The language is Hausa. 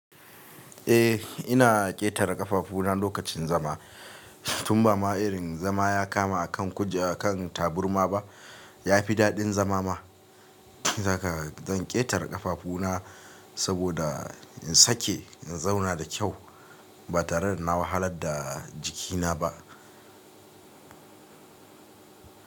Eh ina ƙetare ƙafafuna lokacin zama tun ba ma irin zama ya kama akan kujera akan taburma ba ya fi daɗin zama ma shine zaka zan ƙetare ƙafafuna saboda in sake in zauna da kyau ba tare da na wahalar da jikina ba.